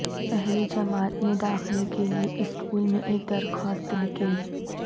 پہلی جماعت میں داخلہ کے لئے اسکول میں ایک درخواست لکھیں